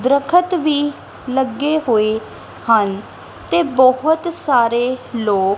ਦ੍ਰਖਤ ਵੀ ਲੱਗੇ ਹੋਏ ਹਨ ਤੇ ਬਹੁਤ ਸਾਰੇ ਲੋਕ --